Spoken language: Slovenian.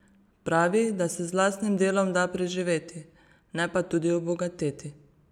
Pravi, da se z lastnim delom da preživeti, ne pa tudi obogateti.